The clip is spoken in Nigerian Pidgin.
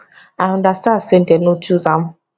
i understand say dem no choose am